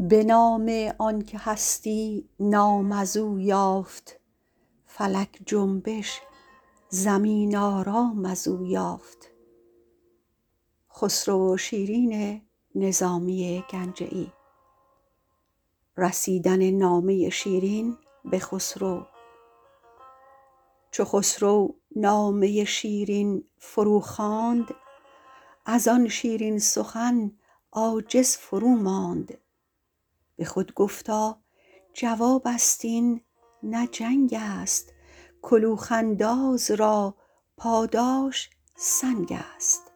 چو خسرو نامه شیرین فروخواند از آن شیرین سخن عاجز فروماند به خود گفتا جواب است این نه جنگ است کلوخ انداز را پاداش سنگ است